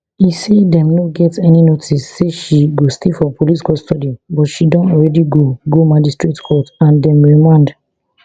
e say dem no get any notice say she go stay for police custody but she don already go go magistrate court and dem remand